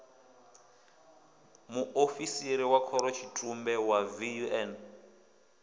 muofisiri wa khorotshitumbe wa vun